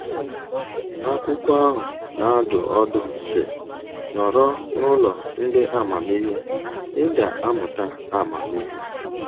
Akwụkwọ ahụ na-adụ ọdụ sị: “Nọrọ n’ụlọ ndị amamihe, ị ga-amụta amamihe.”